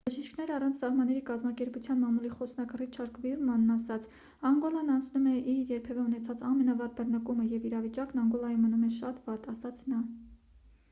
«բժիշկներ առանց սահմանների» կազմակերպության մամուլի խոսնակ ռիչարդ վիրմանն ասաց. «անգոլան անցնում է իր երբևէ ունեցած ամենավատ բռնկումը և իրավիճակն անգոլայում մնում է շատ վատ»,- ասաց նա: